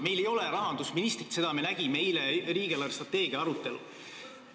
Meil aga ei ole rahandusministrit, seda me nägime riigi eelarvestrateegia arutelul.